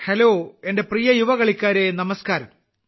hello എന്റെ പ്രിയ യുവകളിക്കാരേ നമസ്ക്കാരം